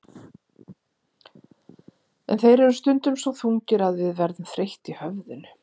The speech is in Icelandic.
En þeir eru stundum svo þungir að við verðum þreytt í höfðinu.